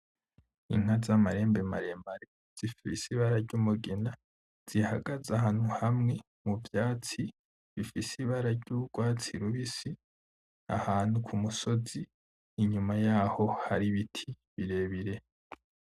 Inka z'amahembe maremare zifise ibara ry'umugina, zihagaze ahantu hamwe mu vyatsi, bifise ibara ry'ugwatsi rubisi ahantu kumusozi. Inyuma yaho hari ibiti birebire.